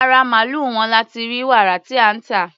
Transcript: Ara màlúù wọn la ti rí wàrà tí à ń tà.